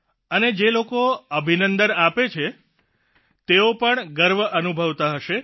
અને જે લોકો અભિનંદન આપે છે તેઓ પણ ગર્વ અનુભવતા હશે